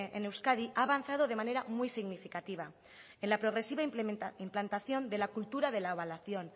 en euskadi ha avanzado de manera muy significativa en la progresiva implantación de la cultura de la evaluación